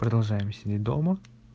продолжаем сидеть дома